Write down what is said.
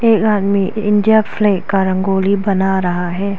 एक आदमी India flag का रंगोली बना रहा है।